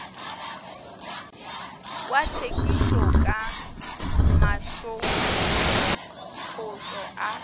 wa thekišo ka mašokotšo a